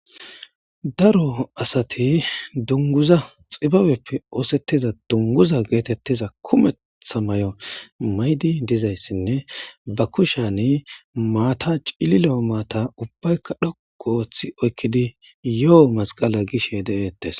daro asati dunguza xibabeppe oosettiza dunguza geetettiza kumettha may7o maydi dizayssinne ba kushani maata cililoo maata ubbaykka dhok ooththi oykkidi yo7o masqala gishe de7eettes